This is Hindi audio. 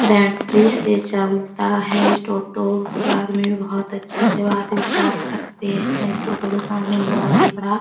बैटरी से चलता है टोटो ये आदमी बहुत अच्छे से बात विचार करते है टोटो के सामने बहुत ही बड़ा --